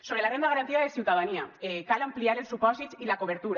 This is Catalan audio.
sobre la renda garantida de ciutadania cal ampliar ne els supòsits i la cobertura